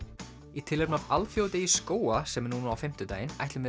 í tilefni af alþjóðadegi skóga sem er núna á fimmtudaginn ætlum við